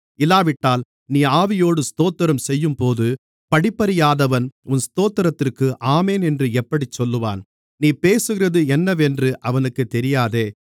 இல்லாவிட்டால் நீ ஆவியோடு ஸ்தோத்திரம் செய்யும்போது படிப்பறியாதவன் உன் ஸ்தோத்திரத்திற்கு ஆமென் என்று எப்படிச் சொல்லுவான் நீ பேசுகிறது என்னவென்று அவனுக்குத் தெரியாதே